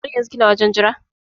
Har yanzun kina wajen Jira?